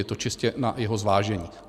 Je to čistě na jeho zvážení.